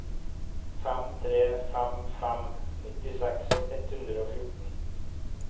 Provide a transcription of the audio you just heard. fem tre fem fem nittiseks ett hundre og fjorten